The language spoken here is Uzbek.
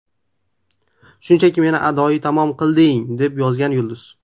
Shunchaki meni adoyi tamom qilding”, − deb yozgan yulduz.